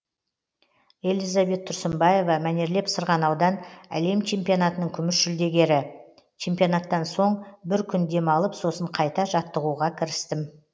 элизабет тұрсынбаева мәнерлеп сырғанаудан әлем чемпионатының күміс жүлдегері чемпионаттан соң бір күн демалып сосын қайта жаттығуға кірістім